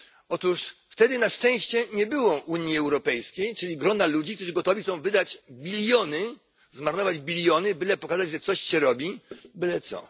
Otóż wtedy na szczęście nie było Unii Europejskiej, czyli grona ludzi, którzy gotowi są zmarnować biliony, byle pokazać, że coś się robi, byle co.